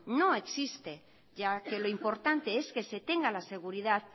no existe ya que lo importante es que se tenga la seguridad